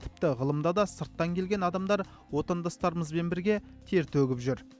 тіпті ғылымда да сырттан келген адамдар отандастарымызбен бірге тер төгіп жүр